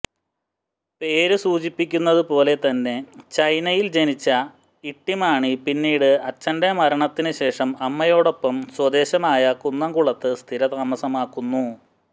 പേര് സൂചിപ്പിക്കുന്നതുപോലെ തന്നെ ചൈനയിൽ ജനിച്ച ഇട്ടിമാണി പിന്നീട് അച്ഛന്റെ മരണത്തിന് ശേഷം അമ്മയോടൊപ്പം സ്വദേശമായ കുന്നംകുളത്ത് സ്ഥിരതാമസമാക്കുന്നു